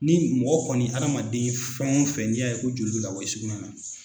Ni mɔgɔ kɔni hadamaden fɛn o fɛn n'i y'a ye ko joli bɛ ka bɔ i sugunɛ na.